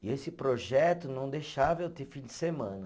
E esse projeto não deixava eu ter fim de semana.